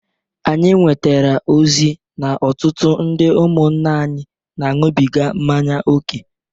Anyị nwetara ozi n'ọtụtụ ndị ụmụnna anyị na-aṅụbịga mmanya oke.